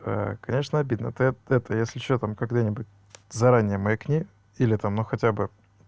конечно обидно ты ты это если что там когда-нибудь заранее маякни или там но хотя бы